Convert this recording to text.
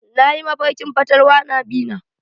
Nayi mafarkin fatalwa na bi na.